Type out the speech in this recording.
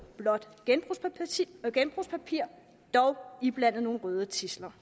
blåt genbrugspapir dog iblandet nogle røde tidsler